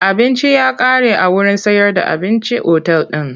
Abinci ya kare a wurin sayar da abincin otal din.